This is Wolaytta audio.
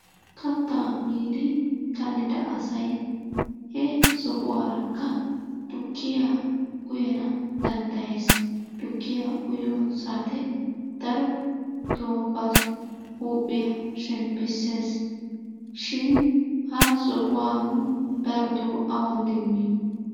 Kattaa miiddi kallida asay he sohuwaarakka tukkiya uyana danddayees. Tukkiya uyiyo saate daroto ba huuphiya shemppisses shin ha sohuwaa nu daroto awun demmiyo?